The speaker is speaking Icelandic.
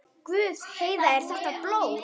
Guð, Heiða, er þetta blóð?